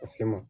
A se ma